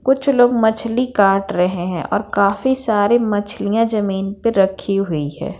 कुछ लोग मछली काट रहे हैं और काफी सारी मछलियाँ जमीन पे रखी हुई हैं।